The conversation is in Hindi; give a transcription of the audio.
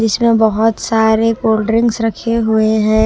जिसमें बहुत सारे कोल्ड्रिंक्स रखे हुए हैं।